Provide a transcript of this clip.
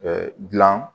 gilan